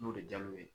N'o de diyar'u ye